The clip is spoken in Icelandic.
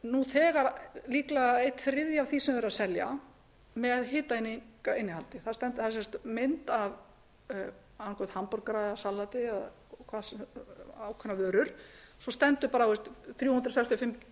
nú þegar líklega einn þriðja af því sem verið er að selja með hitaeiningainnihaldi það er mynd af annaðhvort hamborgarasalati eða ákveðnar vörur svo stendur bara á þrjú hundruð sextíu og fimm